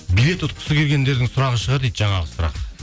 билет ұтқысы келгендердің сұрағы шығар дейді жаңағы сұрақ